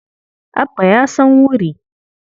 Abba ya san wuri.